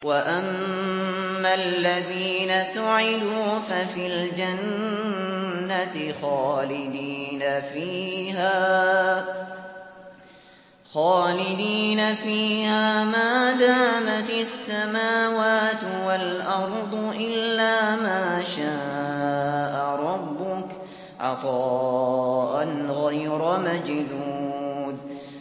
۞ وَأَمَّا الَّذِينَ سُعِدُوا فَفِي الْجَنَّةِ خَالِدِينَ فِيهَا مَا دَامَتِ السَّمَاوَاتُ وَالْأَرْضُ إِلَّا مَا شَاءَ رَبُّكَ ۖ عَطَاءً غَيْرَ مَجْذُوذٍ